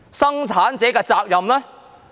生產者的責任呢？